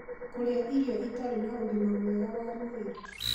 Kũrĩa Irio Itarĩ na ũgima mwega wa mwĩrĩ